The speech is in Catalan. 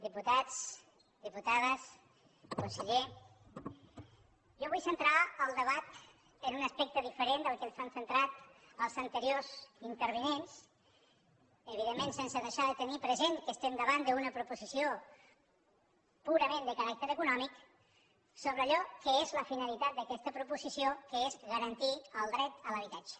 diputats diputades conseller jo vull centrar el debat en un aspecte diferent del que ens l’han centrat els anteriors intervinents evidentment sense deixar de tenir present que estem davant d’una proposició purament de caràcter econòmic sobre allò que és la finalitat d’aquesta proposició que és garantir el dret a l’habitatge